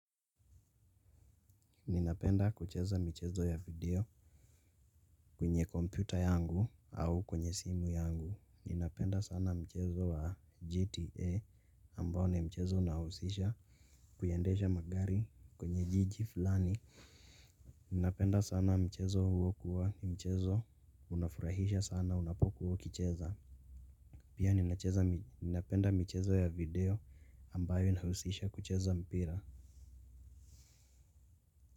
Ninapenda kucheza michezo ya video kwenye compyuta yangu au kwenye simu yangu. Ninapenda sana mchezo wa GTA ambayo ni mchezo unahusisha kuya endesha magari kwenye jiji fulani. Ninapenda sana mchezo huo kuwa mchezo unafurahisha sana unapokua ukicheza. Pia ninacheza ninapenda michezo ya video ambayo inahusisha kucheza mpira.